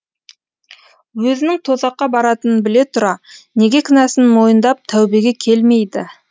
өзінің тозаққа баратынын біле тұра неге кінәсін мойындап тәубеге келмейді